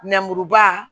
Nɛmuruba